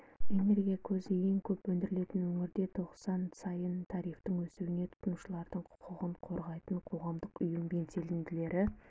энергия көзі ең көп өндірілетін өңірде тоқсан сайын тарифтің өсуіне тұтынушылардың құқығын қорғайтын қоғамдық ұйым белсенділері